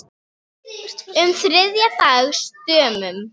um þriðja dags dömum.